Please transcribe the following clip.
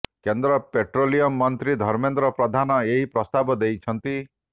କେନ୍ଦ୍ର ପେଟ୍ରୋଲିୟମ୍ ମନ୍ତ୍ରୀ ଧର୍ମେନ୍ଦ୍ର ପ୍ରଧାନ ଏହି ପ୍ରସ୍ତାବ ଦେଇଛନ୍ତି